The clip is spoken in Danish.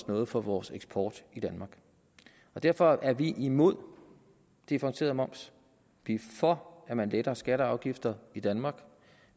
noget for vores eksport i danmark derfor er vi imod differentieret moms vi er for at man letter skatter og afgifter i danmark og